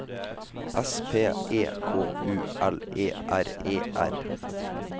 S P E K U L E R E R